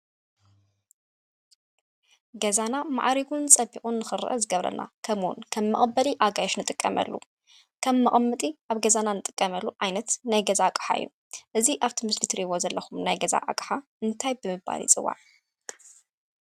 ገዛና ማዕሪጉን ፀቢቁን ንክርአ ዝገብረልና ከመኡ እውን ከም መቀበሊ ኣጋይሽ እንጥቀመሉ ከም መቀመጢ ኣብ ገዛና እንጥቀመሉ ዓይነት ናይ ገዛ ኣቅሓ እዩ። እዚ ኣብቲ ምስሊ እትሪእዎ ዘለኩም ናይ ገዛ ኣቅሓ እንታይ ብምባል ይፅዋዕ?